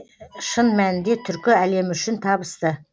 шын мәнінде түркі әлемі үшін табысты